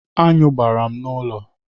Aṅụ gbara m n'ụlọ.